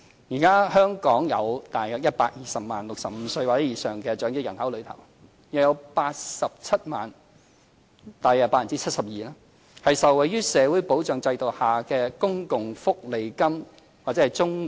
現時香港約120萬名65歲或以上的長者人口中，約87萬人——即大約 72%—— 受惠於社會保障制度下的公共福利金或綜援。